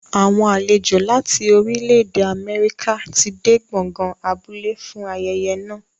Àwọn àlejò láti orílẹ̀-èdè Amẹ́ríkà ti dé gbọ̀ngàn abúlé fún ayẹyẹ náà.